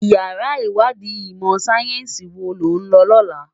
Iyàrá iwàdí imò sáyènsí wó ló n lò lòlá